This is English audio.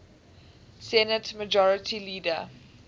senate majority leader